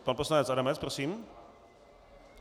Pan poslanec Adamec, prosím.